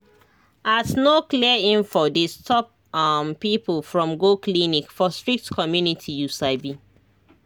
as no clear info dey stop um people from go clinic for strict community you sabi